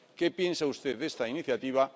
¿Qué piensa usted de esta iniciativa?